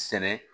Sɛnɛ